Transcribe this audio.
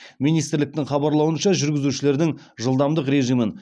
министрліктің хабарлауынша жүргізушілердің жылдамдық режимін